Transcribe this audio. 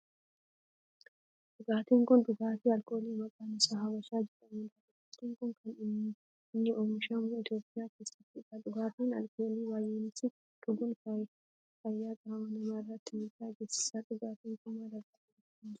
Dhugaatin kun dhugaatii alkoolii maqaan isaa Habashaa jedhamudha. Dhugaatin kun kan inni oomishamu Itiyoophiyaa keessattidha. Dhugaatii alkoolii baayyisanii dhuguun fayyaa qaama namaa irratti miidhaa geessisa. Dhugaatin kun maal irraa oomishama?